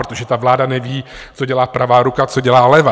Protože ta vláda neví, co dělá pravá ruka, co dělá levá.